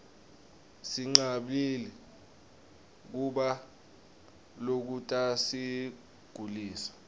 sinqabli kubla lokutasigulisa